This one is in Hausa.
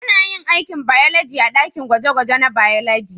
Ana yin aikin bayologi a dakin gwaje-gwaje na bayologi.